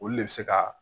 Olu de bɛ se ka